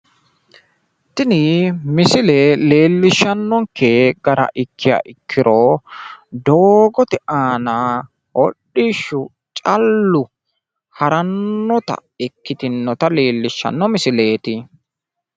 tini misile leellishshannonke gara ikkiha ikkiro doogote aana hodhishshi callu harannotaati ikkitinota leellishshannonke misileeti.